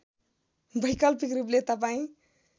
वैकल्पिक रूपले तपाईँ